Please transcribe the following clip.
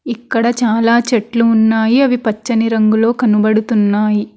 ఇక్కడ చాలా చెట్లు ఉన్నాయి అవి పచ్చని రంగులో కనబడుతున్నాయి.